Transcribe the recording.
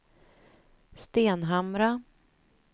Stenhamra